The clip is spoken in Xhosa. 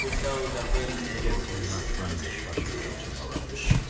okuhlawulwa kweendleko ezenzeke